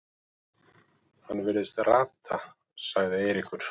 Hann virðist rata sagði Eiríkur.